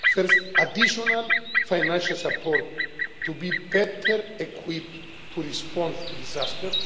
First, additional financial support, to be better equipped to respond to disasters.